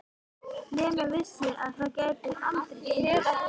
Lena vissi að það gæti aldrei gengið.